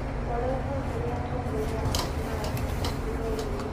Tũkoretwo tũrĩ atongoria a kĩrathi ithuerĩ.